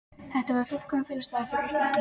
Þetta er fullkominn felustaður, fullyrti hann.